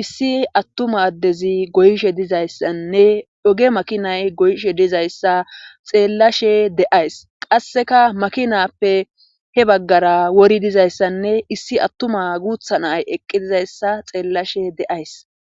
issi attuma addezi goyishe dizayssanne oge makinay goyishe dizayssa xeellashe de'ays qasseka makinappe he baggara wori dizayssanne issi attuma guutha nay eqqi dizayssa xeellashe de7ays